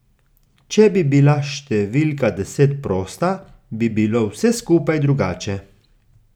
Če bi bila številka deset prosta, bi bilo vse skupaj drugače.